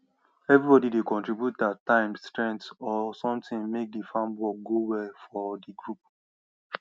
everybody dey contribute their time strength or something make the farm work go well for the group